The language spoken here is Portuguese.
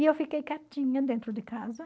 E eu fiquei quietinha dentro de casa.